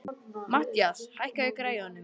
Mathías, hækkaðu í græjunum.